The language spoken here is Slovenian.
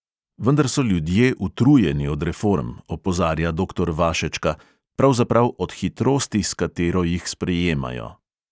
Vendar so ljudje utrujeni od reform, opozarja doktor vašečka, pravzaprav od hitrosti, s katero jih sprejemajo.